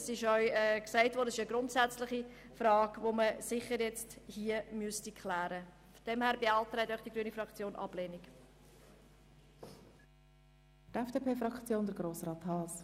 Denn es handelt sich um eine grundsätzliche Frage, die man sicher hier klären müsste.